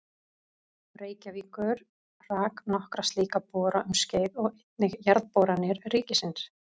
Reykjavíkur rak nokkra slíka bora um skeið og einnig Jarðboranir ríkisins.